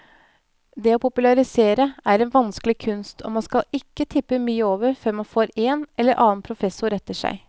Det å popularisere er en vanskelig kunst, og man skal ikke tippe mye over før man får en eller annen professor etter seg.